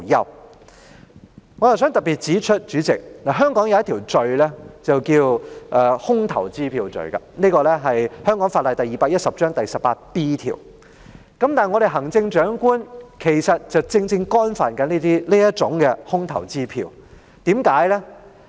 代理主席，我想特別指出，香港有一項罪行是空頭支票罪，即香港法例第210章第 18B 條，而行政長官其實正正干犯了這空頭支票罪。